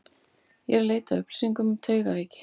Ég er eð leita að upplýsingum um taugaveiki.